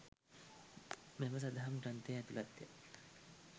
මෙම සදහම් ග්‍රන්ථයේ ඇතුළත් ය.